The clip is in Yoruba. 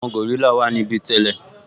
Àwọn gòrílà wà níbí tẹ́lẹ̀